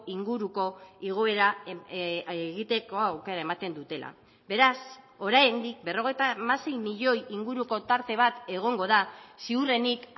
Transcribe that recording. inguruko igoera egiteko aukera ematen dutela beraz oraindik berrogeita hamasei milioi inguruko tarte bat egongo da ziurrenik